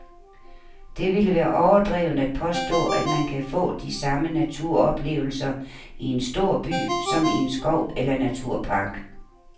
Det vil være overdrevent at påstå, at man kan få de samme naturoplevelser i en stor by som i en skov eller naturpark.